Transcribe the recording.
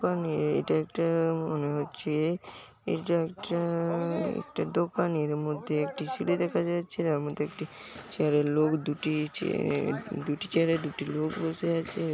এবং এটা একটা মনে হচ্ছে এটা একটা দোকানের মধ্যে একটি সিডি দেখা যাচ্ছে যার মধ্যে একটি চিয়ারে লোক দুটি দুটি চিয়ারে দুটি লোক বসে আছে ।